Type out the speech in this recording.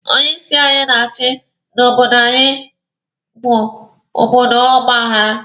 Onye isi anyị na-eche na obodo anyi bụ obodo ọgba aghara.